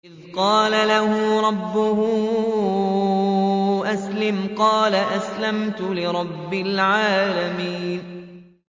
إِذْ قَالَ لَهُ رَبُّهُ أَسْلِمْ ۖ قَالَ أَسْلَمْتُ لِرَبِّ الْعَالَمِينَ